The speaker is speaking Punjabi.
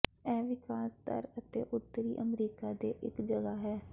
ਇਹ ਵਿਕਾਸ ਦਰ ਅਤੇ ਉੱਤਰੀ ਅਮਰੀਕਾ ਦੇ ਇੱਕ ਜਗ੍ਹਾ ਹੈ